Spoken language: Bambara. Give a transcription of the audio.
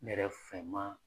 Ne yɛrɛ fɛ maa